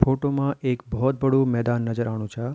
फोटो मा एक भोत बडू मैदान नजर आणु चा।